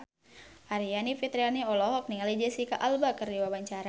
Aryani Fitriana olohok ningali Jesicca Alba keur diwawancara